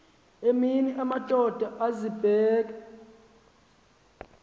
emini amadoda azibeka